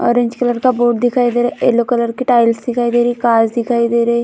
Orange colour का board दिखाई दे रहा येलो कलर के टाइल्स दिखाई दे रही कार्स दिखाई दे रहे ।